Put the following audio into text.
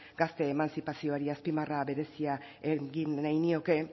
gazteen emantzipaziori azpimarra berezia egin nahi nioke